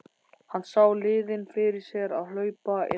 Hann sá liðin fyrir sér að hlaupa inn á völlinn.